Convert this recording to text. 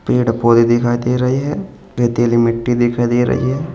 पेड़ पौधे दिखाई दे रही है रेतीली मिट्टी दिखाई दे रही है।